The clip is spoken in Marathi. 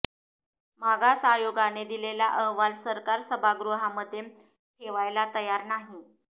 मागास आयोगाने दिलेला अहवाल सरकार सभागृहामध्ये ठेवायला तयार नाही